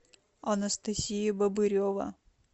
анастасия бобырева